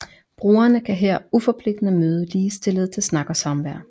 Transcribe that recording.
Brugerne kan her uforpligtende møde ligestillede til snak og samvær